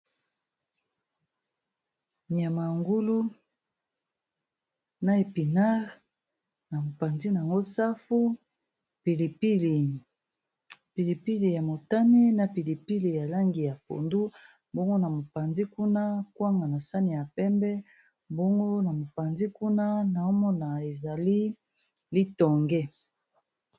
Nyama yangulu na epinare na mopanzi n ango safu pilipilipilipili ya motame na pilipili ya langi ya pondu mbongo na mopanzi kuna kwanga na sani ya pembe mbongo na mopanzi kuna na omona ezali litonge